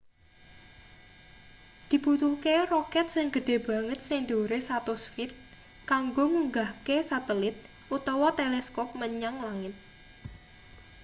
dibutuhke roket sing gedhe banget sing dhuwure 100 feet kanggo ngunggahke satelit utawa teleskop menyang langit